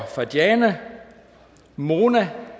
mona